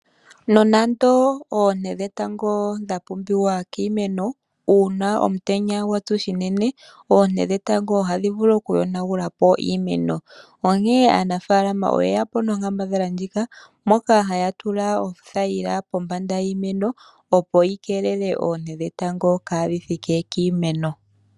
Nonando oonte dhetango dha pumbiwa kiimeno, uuna omutenya gwatsu shinene, oonte dhetango ohadhi vulu okuyonagulapo iimeno. Onkene aanafalama oyeyapo nonkambadhala ndjika, moka haya tula othayila pombanda yiimeno, opo yi keelele oonte dhetango, kaadhi thike kiimeno.